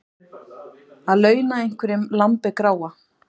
Að launa einhverjum lambið gráa